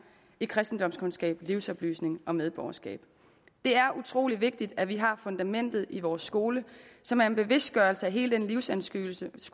i kristendomskundskab livsoplysning og medborgerskab det er utrolig vigtigt at vi har fundamentet i vores skole som er en bevidstgørelse af hele den livsanskuelse